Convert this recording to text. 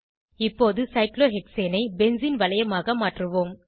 இப்போது சைக்ளோஹெக்சேனை பென்சீன் வளையமாக மாற்றுவோம்